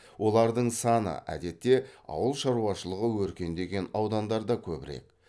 олардың саны әдетте ауыл шаруашылығы өркендеген аудандарда көбірек